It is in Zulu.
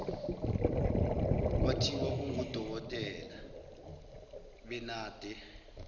kwathiwa ungudokotela benade